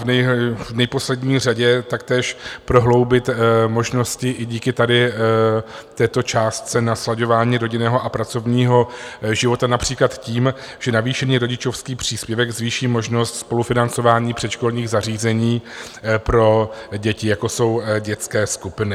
V neposlední řadě taktéž prohloubit možnosti i díky tady této částce na slaďování rodinného a pracovního života například tím, že navýšený rodičovský příspěvek zvýší množnost spolufinancování předškolních zařízení pro děti, jako jsou dětské skupiny.